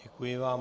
Děkuji vám.